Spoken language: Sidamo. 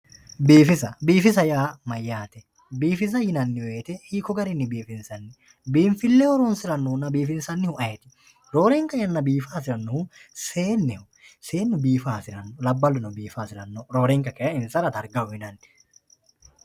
Biifisa, biifisa yaa mayate, biifisa yinnanni woyte hiikko garinni biifinsanni, biinfileho horonsiranohunna biinfile horonsiranohu ayeeti? Roorenka yanna biifa hasiranohu seenneho ,seennuno biifa hasirano labbaluno biifa hasirano roorenka kayi insara darga uyinanni.